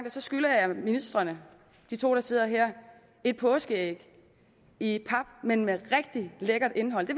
at så skylder jeg ministrene de to der sidder her et påskeæg i pap men med rigtig lækkert indhold det